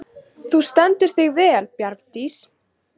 Þú stendur þig vel, Bjargdís!